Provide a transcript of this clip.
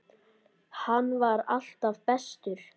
Hann var alltaf bestur.